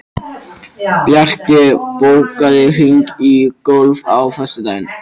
Bjarki, bókaðu hring í golf á föstudaginn.